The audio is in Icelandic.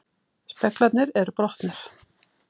Speglarnir eru brotnir